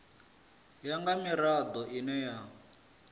ya nga mirado ine ya